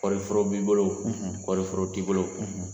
Kɔɔri foro b'i bolo, , kɔɔri foro t'i bolo,